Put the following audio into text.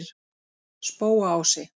Spóaási